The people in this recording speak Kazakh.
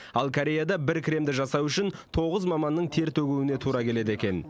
ал кореяда бір кремді жасау үшін тоғыз маманның тер төгуіне тура келеді екен